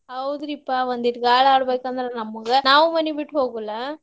ಹೌದ್ರಿಪಾ ಒಂದಿಟ್ ಗಾಳಾಡ್ಬೇಕ್ ಅಂದ್ರ ನಮಗ ನಾವು ಮನಿ ಬಿಟ್ಟ್ ಹೋಗುಲ್ಲಾ.